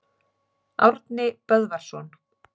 Árni Böðvarsson.